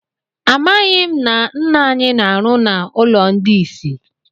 Amaghị m na nna anyị na-arụ na ụlọ ndị isi.